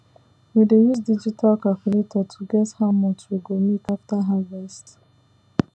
we dey use digital calculator to guess how much we go make after harvest